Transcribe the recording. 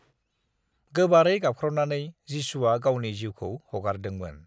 "गोबारै गाबख्रावनानै, जिसुआ गावनि जिउखौ हगारदोंमोन"